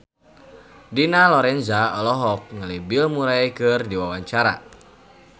Dina Lorenza olohok ningali Bill Murray keur diwawancara